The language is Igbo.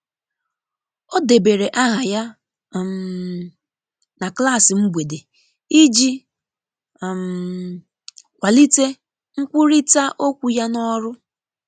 o debere aha ya um na klasi mgbede iji um kwalite nkwụrita okwu ya n'orụ.